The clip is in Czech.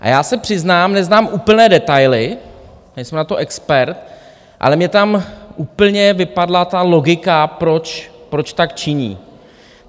A já se přiznám, neznám úplně detaily, nejsem na to expert, ale mně tam úplně vypadla ta logika, proč tak činí.